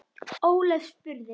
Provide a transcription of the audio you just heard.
Ólöf spurði